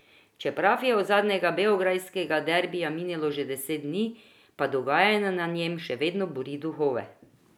Čeprav je od zadnjega beograjskega derbija minilo že deset dni, pa dogajanje na njem še vedno buri duhove.